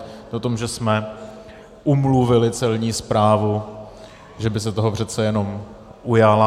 To je o tom, že jsme umluvili Celní správu, že by se toho přece jenom ujala.